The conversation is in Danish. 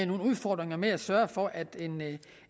nogle udfordringer med at sørge for at